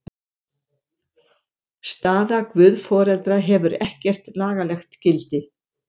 Staða guðforeldra hefur ekkert lagalegt gildi.